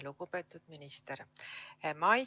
Lugupeetud minister!